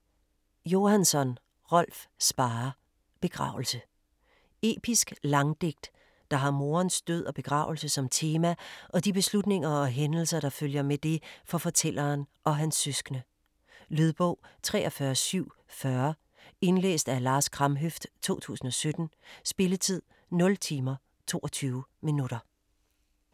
Johansson, Rolf Sparre: Begravelse Episk Langdigt, der har morens død og begravelse som tema og de beslutninger og hændelser, der følger med det for fortælleren og hans søskende. Lydbog 43740 Indlæst af Lars Kramhøft, 2017. Spilletid: 0 timer, 22 minutter.